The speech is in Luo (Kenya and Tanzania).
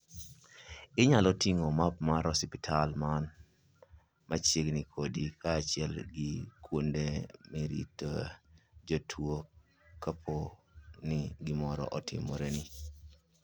Inyalo ting'o map mar osiptal man machiegni kodi kaachiel gi kuonde miritoe jotuwo kapo ni gimoro otimoreni.